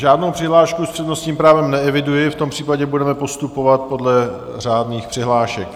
Žádnou přihlášku s přednostním právem neeviduji, v tom případě budeme postupovat podle řádných přihlášek.